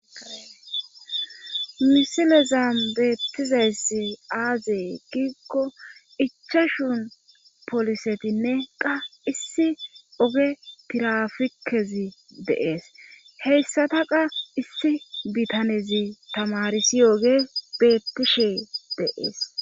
Misilezam beettizayssi aazee giikko ichashun polisetinne qa issi oge tirafikezi deees heyssata qa issi bitanezi tamarisi yoge beettishe deees.